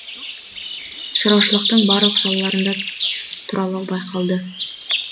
шаруашылықтың барлық салаларында тұралау байқалды